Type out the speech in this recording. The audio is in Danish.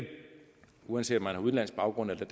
uanset om man har udenlandsk baggrund eller